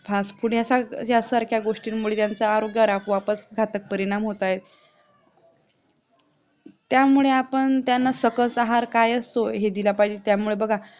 fastfood ह्यासारख्या गोष्टींमुळे मुलांच्या आरोग्यावर आपोआपच घातक परिणाम होत आहेत त्यामुळे आपण त्यांना सकस आहार काय असतो हे दिला पाहिजे त्यामुळे बघा